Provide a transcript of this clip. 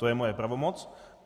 To je moje pravomoc.